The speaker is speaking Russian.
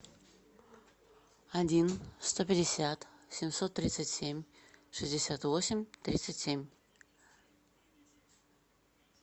один сто пятьдесят семьсот тридцать семь шестьдесят восемь тридцать семь